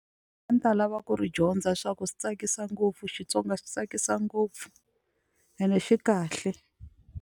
A ni ta lava ku ri dyondza swa ku swi tsakisa ngopfu Xitsonga xa tsakisa ngopfu ene xi kahle.